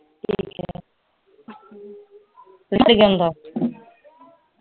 ਜਾਂਦਾ